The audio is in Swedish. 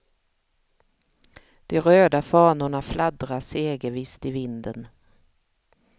De röda fanorna fladdrar segervisst i vinden.